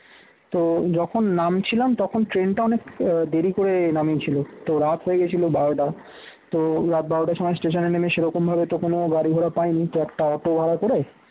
তো যখন নামছিলাম তখন ট্রেনটা অনেক আহ দেরি করে নামিয়েছিল রাত হয়েছিল বারোটা তো রাত বারোটার সময় station এ নেমে সেরকমভাবে তো কোন গাড়ি ভাড়া পাইনি তো একটা auto ভাড়া করে